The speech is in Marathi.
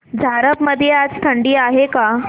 झारप मध्ये आज थंडी आहे का